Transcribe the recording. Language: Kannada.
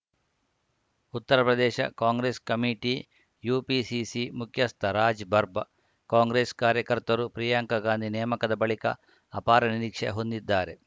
ಉತ್ತರಪ್ರದೇಶ ಕಾಂಗ್ರೆಸ್‌ ಕಮಿಟಿಯುಪಿಸಿಸಿ ಮುಖ್ಯಸ್ಥ ರಾಜ್‌ ಬರ್ಬ್ ಕಾಂಗ್ರೆಸ್‌ ಕಾರ್ಯಕರ್ತರು ಪ್ರಿಯಾಂಕಾ ಗಾಂಧಿ ನೇಮಕದ ಬಳಿಕ ಅಪಾರ ನಿರೀಕ್ಷೆ ಹೊಂದಿದ್ದಾರೆ